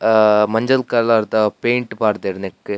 ಆ ಮಂಜಲ್ ಕಲರ್ದ ದ ಪೈಂಟ್ ಪಾಡ್ಡೆರ್ ನೆಕ್ಕ್.